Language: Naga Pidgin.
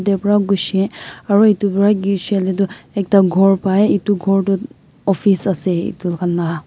vra kushi aro etu bara tho ekta kor bai etu kor tho office ase etu kan la.